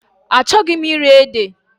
Achọghị m iri ede.